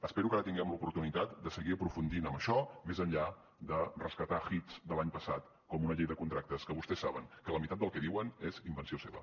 espero que ara tinguem l’oportunitat de seguir aprofundint en això més enllà de rescatar hits de l’any passat com una llei de contractes que vostès saben que la meitat del que diuen és invenció seva